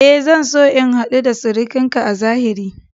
E, zan so in hadu da surukinki a zahiri.